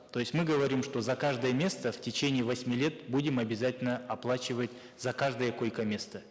то есть мы говорим что за каждое место в течение восьми лет будем обязательно оплачивать за каждое койкоместо